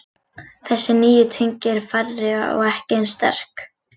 Þessi nýju tengi eru færri og ekki eins sterk.